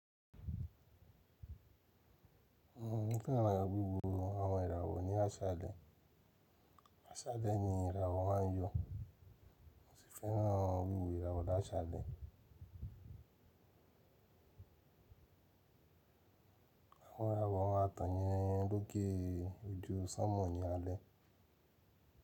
Bí kí èèyàn maa wo àwọn ìràwọ̀ ní áṣẹ alẹ́. Áṣale ni ìràwọ̀ máa yọ̀. Mo sì fẹ́ràn wíwo ìràwọ̀ ni áṣẹ alẹ́. Àwọn ìràwọ̀ máa tàn ni lóke ojú sánmọ̀ nì alẹ́.